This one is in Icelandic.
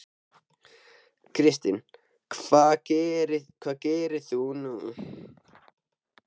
Kristinn: Hvað gerir þú nú?